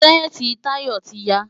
Ṣẹ́ẹ̀tì Tayo ti ya.